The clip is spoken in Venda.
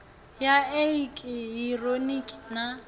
ya i eki hironiki na